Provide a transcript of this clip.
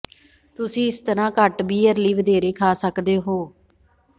ਤੁਸੀਂ ਇਸ ਤਰ੍ਹਾਂ ਘੱਟ ਬੀਅਰ ਲਈ ਵਧੇਰੇ ਖਾ ਸਕਦੇ ਹੋ